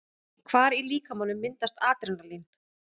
Hvar í líkamanum myndast Adrenalín?